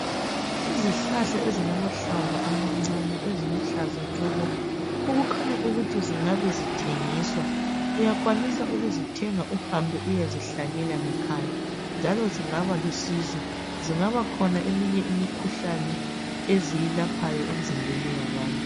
Izihlahla ezilamahlamvu amancane eziluhlaza tshoko okukhanya ukuthi zingabe zithengiswa. Uyakwanisa ukuzithenga uhambe uyezihlanyela ngekhaya njalo zingaba lusizo. Zingaba khona eminye imikhuhlane eziyilaphayo emizimbeni yabantu.